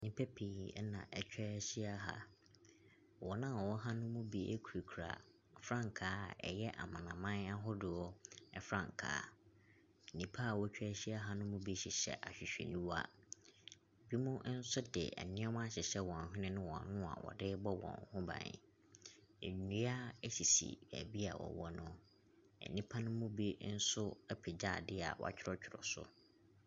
Nnipa pii na wɔatwa ahyia ha. Wɔn a wɔwɔ ha no bi kurakura frankaa a ɛyɛ amanaman ahoroɔ frankaa. Nnipa a wɔatwa ahyia ha no mu bi hyehyɛ ahwehwɛniwa. Binom nso de nneɛma ahyehyɛ wɔn hwene ne wɔn ano a wɔde rebɔ wɔn ho ban. Nnua sisi baabi a wɔwɔ no. nnipa no mu bi nso apagya adeɛ a wɔatwerɛtwerɛ so.